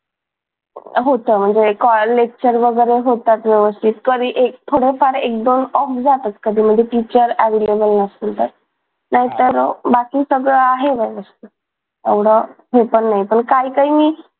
होतं म्हणजे कॉलेज चे वगैरे होतात व्यवस्थित कधी थोडाफार एक दोन off जातात कधी म्हणजे teacher available नसतील तर नाहीतर मग बाकी सगळ आहे व्यवस्थित एवढ हे पण नाही पण काही काहीनी